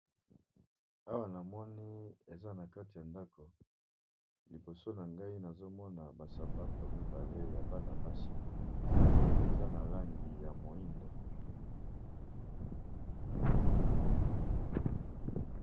Awa namoni balakisi biso eza nakati ya ndako namoni basapato mibale eza ya bana basi eza nalangi ya moindo